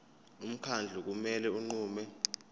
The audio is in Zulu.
umkhandlu kumele unqume